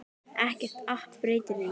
Ekkert app breytir því.